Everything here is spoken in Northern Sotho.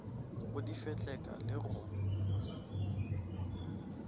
go di fetleka le go